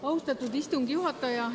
Austatud istungi juhataja!